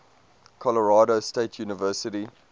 colorado state university